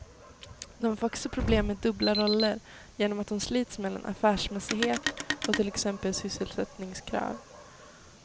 De får också problem med dubbla roller, genom att de slits mellan affärsmässighet och till exempel sysselsättningskrav.